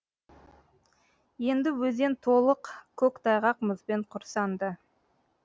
енді өзен толық көк тайғақ мұзбен құрсанды